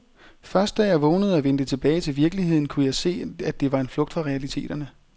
Først da jeg vågnede og vendte tilbage til virkeligheden, kunne jeg se, at det var en flugt fra realiteterne.